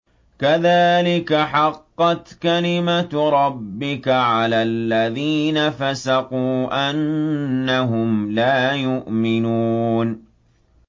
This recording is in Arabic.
كَذَٰلِكَ حَقَّتْ كَلِمَتُ رَبِّكَ عَلَى الَّذِينَ فَسَقُوا أَنَّهُمْ لَا يُؤْمِنُونَ